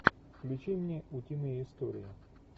включи мне утиные истории